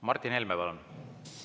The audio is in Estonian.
Martin Helme, palun!